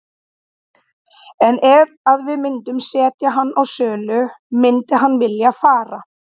En ef að við myndum setja hann á sölu myndi hann vilja fara?